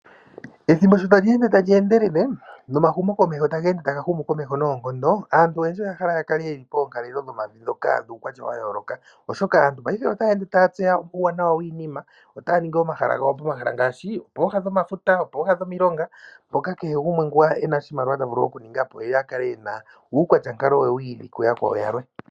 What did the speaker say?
Ethimbo sho tali ende tali endelele nomahumo komeho taga ende taga humu komeho noonkondo. Aantu oyendji oya hala yakale poonkalelo dhomavi dhoka dhuukwatya wa yooloka, oshoka aantu otaya ende taya tseya uuwanawa wiinina. Otoya ningi omahala gawo pomahala ngaashi pooha dhomafuta, pooha dhomilonga mpoka kehe gumwe ngoka ena oshimaliwa ta vulu okuninga po ye akale ena uukwatya nkalo we wiili kuyakwawo yamwe.